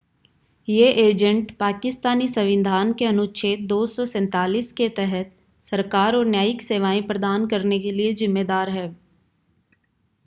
ये एजेंट पाकिस्तानी संविधान के अनुच्छेद 247 के तहत सरकार और न्यायिक सेवाएं प्रदान करने के लिए ज़िम्मेदार हैं